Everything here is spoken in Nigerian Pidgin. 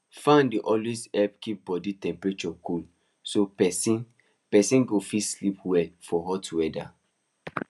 fan dey always help keep body temperature cool so person person go fit sleep well for hot weather